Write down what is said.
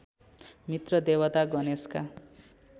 मित्र देवता गणेशका